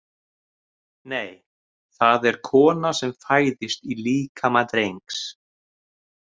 Nei, það er kona sem fæðist í líkama drengs